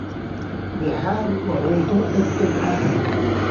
Bihari waa cunto degdeg ah.